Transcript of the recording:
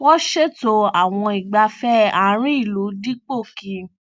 wọn ṣètò àwọn ìgbáfẹ àárín ìlú dípò kí